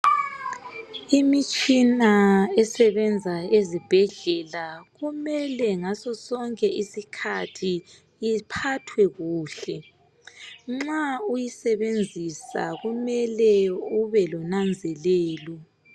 Imitshina esebenza ezibhedlela kumele ngaso sonke isikhathi iphathwe kuhle nxa uyisebenzisa kumele ube lonanzelelo